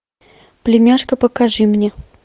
племяшка покажи мне